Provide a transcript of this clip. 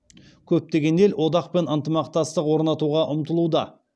көптеген ел одақпен ынтымақтастық орнатуға ұмтылуда